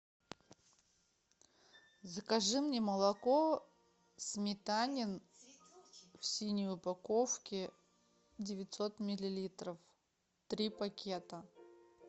закажи мне молоко сметанин в синей упаковке девятьсот миллилитров три пакета